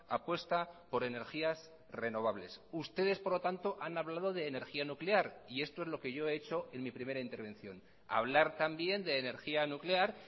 apuesta por energías renovables ustedes por lo tanto han hablado de energía nuclear y esto es lo que yo he hecho en mi primera intervención hablar también de energía nuclear